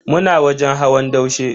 Muna wajen hawan daushe.